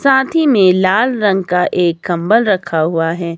साथी में लाल रंग का एक कंबल रखा हुआ है।